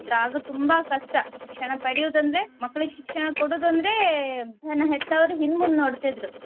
ಆಗ ತುಂಬಾ ಕಷ್ಟ ಶಿಕ್ಷಣ ಪಡಿಯುದಂದ್ರೆ ಮಕ್ಳಿಗೆ ಶಿಕ್ಷಣ ಕೊಡುದಂದ್ರೆ ನನ್ನ ಹೆತ್ತವರು ಹಿಂದ್ ಮುಂದ್ ನೋಡ್ತಿದ್ರು